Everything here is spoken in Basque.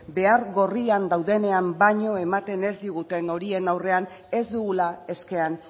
behar gorrian daudenean baino ematen ez diguten horien aurrean ez dugula eskean